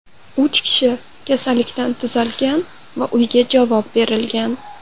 Uch kishi kasallikdan tuzalgan va uyga javob berilgan.